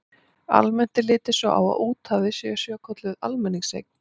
Almennt er litið svo á að úthafið sé svokölluð almenningseign.